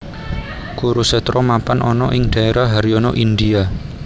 Kurusetra mapan ana ing daérah Haryana India